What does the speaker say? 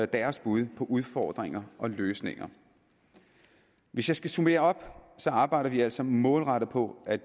deres bud på udfordringer og løsninger hvis jeg skal summere op arbejder vi altså målrettet på at